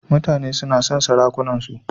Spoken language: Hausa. Mutane suna son sarakunansu.